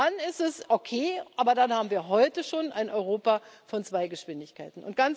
Und dann ist es okay, aber dann haben wir heute schon ein Europa von zwei Geschwindigkeiten.